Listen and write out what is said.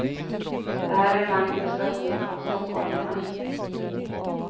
Det här är en manifestation från stockholmarna.